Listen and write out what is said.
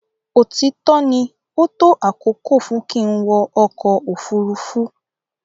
Òtítọ ní o tó àkókò fún kín wọ ọkọ ofurufu.